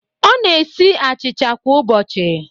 Ọ na-esi achịcha kwa ụbọchị